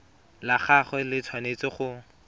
la gagwe le tshwanetse go